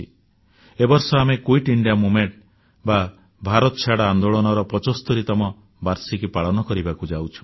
ଏ ବର୍ଷ ଆମ୍ଭେ quit India movement ବା ଭାରତଛାଡ଼ ଆନ୍ଦୋଳନର 75ତମ ବାର୍ଷିକୀ ପାଳନ କରିବାକୁ ଯାଉଛୁ